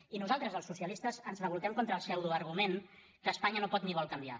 i nosaltres els socialistes ens revoltem contra el pseudo argument que espanya no pot ni vol canviar